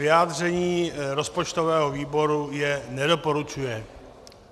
Vyjádření rozpočtového výboru je nedoporučuje.